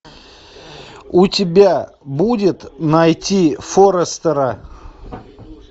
у тебя будет найти форестера